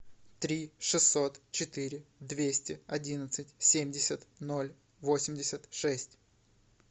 три шестьсот четыре двести одиннадцать семьдесят ноль восемьдесят шесть